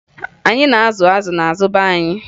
Anyị na-azụ azụ n'azụ be anyị